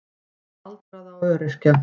Fyrir aldraða og öryrkja.